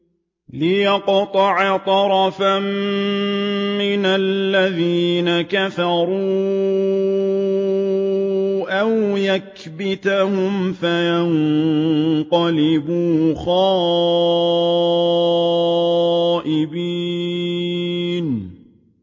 لِيَقْطَعَ طَرَفًا مِّنَ الَّذِينَ كَفَرُوا أَوْ يَكْبِتَهُمْ فَيَنقَلِبُوا خَائِبِينَ